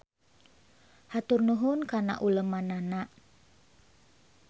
Hatur nuhun kana ulemannana